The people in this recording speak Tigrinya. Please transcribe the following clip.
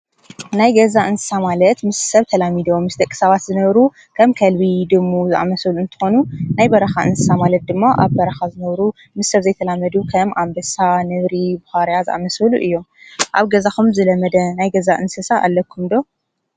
ናይ ገዛ እንስሳ ማለት ምስ ሰብ ተላሚዶም ምስ ደቂ ሰባት ዝነብሩ ከም ከልቢ ፣ድሙ ዝኣመሰሉ እንትኾኑ ናይ በረኻ እንስሳ ማለት ድማ ኣብ በረኻ ዝነብሩ ምስ ሰብ ዘይተላመዱ ከም ኣንበሳ ፣ ነብሪ ፣ቡዃርያ ዝኣመሰሉ እዮም ። ኣብ ገዛኹም ዝለመደ ናይ ገዛ እንስሳ ኣለኩም ዶ ?